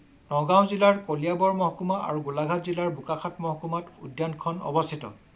নগাঁও জিলাৰ কলিয়াবৰ মহকুমা আৰু গোলাঘাট জিলাৰ বোকাখাট মহকুমাত উদ্যানখন অৱস্থিত